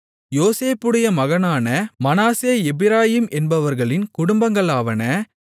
யோசேப்புடைய மகனான மனாசே எப்பிராயீம் என்பவர்களின் குடும்பங்களாவன